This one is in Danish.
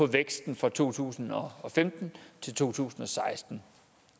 væksten fra to tusind og femten til to tusind og seksten